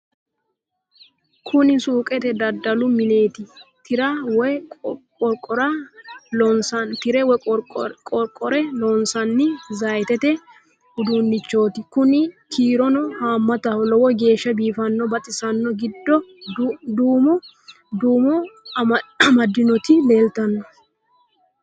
kuni suuqete dadalu mineeti tirra woy qoqore loosanni zaytete uduunnichooti kuni kiirono haammataho lowo geeshsha biifanno baxisanno giddo duumo duumo amadinoti leeltanno